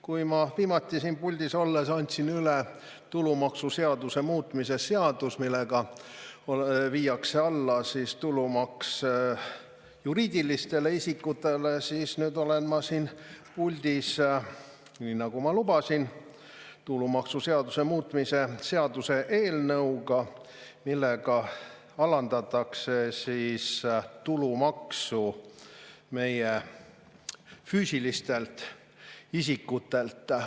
Kui ma viimati siin puldis olles andsin üle tulumaksuseaduse muutmise seaduse, millega viidaks alla juriidiliste isikute tulumaks, siis nüüd olen ma siin puldis, nii nagu ma lubasin, tulumaksuseaduse muutmise seaduse eelnõuga, millega alandatakse tulumaksu füüsilistel isikutel.